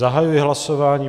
Zahajuji hlasování.